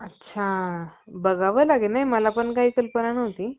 अच्छा बघावं लागेल नाही मला पण काही कल्पना नव्हती